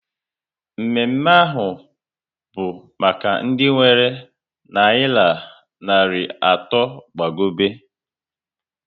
Mme mme ahụ bụ maka ndị nwere nayira narị atọ gbagobe